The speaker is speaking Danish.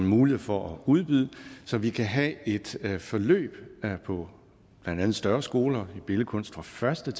mulighed for at udbyde så vi kan have et forløb på blandt andet større skoler i billedkunst fra første